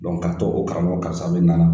k'a to o karamɔgɔ karisa bɛ nana.